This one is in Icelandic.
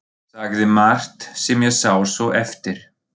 Sagði margt sem ég sá svo eftir.